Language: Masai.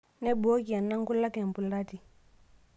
Neibooki ena nkulak embulati.